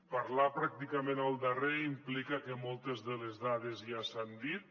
parlar pràcticament el darrer implica que moltes de les dades ja s’han dit